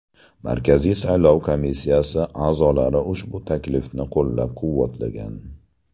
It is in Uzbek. Markaziy saylov komissiyasi a’zolari ushbu taklifni qo‘llab-quvvatlagan.